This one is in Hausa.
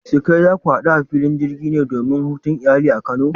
Surukai, za ku hadu a filin jirgi ne domin hutun iyali a kano?